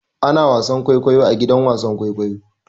Ana wasan kwaikwayo a gidan wasan kwaikwayo.